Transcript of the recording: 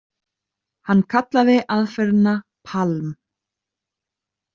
Hann kallaði aðferðina PALM.